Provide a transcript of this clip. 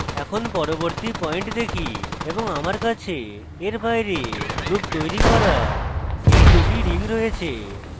এখন পরবর্তী পয়েন্ট রাখি এবং আমার কাছে এর বাইরে loop তৈরী করা এই দুটি rings রয়েছে